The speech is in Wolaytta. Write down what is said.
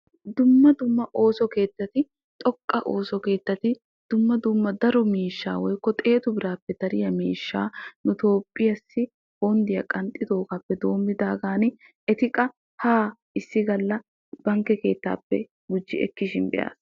Dumma dumma ooso keettatti xoqqa ooso keettatti dumma dumma daro miishshaa woykko xeetu birappe dariyaa miishshaa nu toophphiyaasi bonddiyaa qanxiyogape denddidagan eti qa ha issi galla bankke keetappe gujji ekkishin beas.